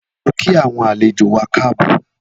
Lọ kí awọn àléjó wà káàbọ̀